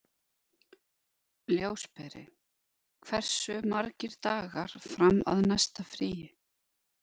Ljósberi, hversu margir dagar fram að næsta fríi?